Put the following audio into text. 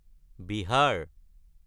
Bihar